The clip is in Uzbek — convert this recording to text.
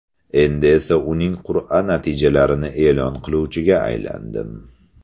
Endi esa uning qur’a natijalarini e’lon qiluvchiga aylandim.